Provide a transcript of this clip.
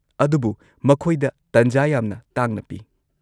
-ꯑꯗꯨꯕꯨ ꯃꯈꯣꯏꯗ ꯇꯟꯖꯥ ꯌꯥꯝꯅ ꯇꯥꯡꯅ ꯄꯤ ꯫